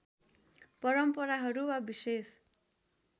परम्पराहरू वा विशेष